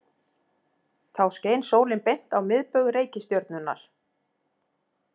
Þá skein sólin beint á miðbaug reikistjörnunnar.